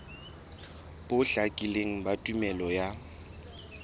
bo hlakileng ba tumello ya